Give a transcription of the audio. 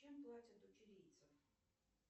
чем платят у чилийцев